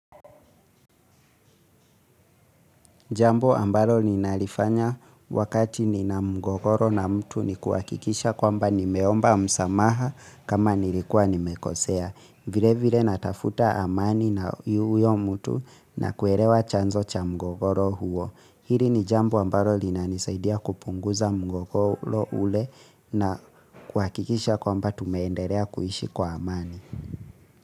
Jambo ambalo ninalifanya wakati nina mgogoro na mtu ni kuhakikisha kwamba nimeomba msamaha kama nilikuwa nimekosea. Vile vile natafuta amani na huyo mtu na kuelewa chanzo cha mgogoro huo. Hili ni jambo ambalo linanisaidia kupunguza mgogoro ule na kuhakikisha kwamba tumeendelea kuishi kwa amani.